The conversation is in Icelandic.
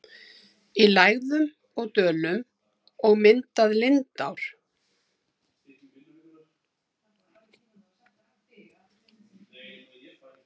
í lægðum og dölum og myndað lindár.